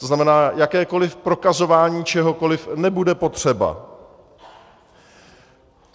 To znamená, jakékoli prokazování čehokoli nebude potřeba.